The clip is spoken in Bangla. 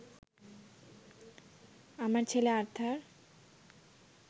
আমার ছেলে আর্থার